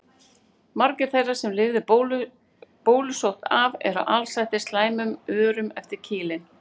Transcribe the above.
Margir þeirra sem lifðu bólusótt af voru alsettir slæmum örum eftir kýlin.